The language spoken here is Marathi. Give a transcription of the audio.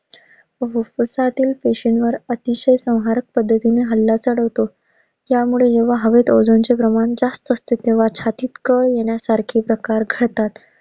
फुफुसातील पेशींवर अतिशय संहारक पद्धतीने हल्ला चढवतो. त्यामुळे हे वहावते ozone चे प्रमाण जास्त असते तेव्हा छातीत कळ येण्यासारखे प्रकार घडतात.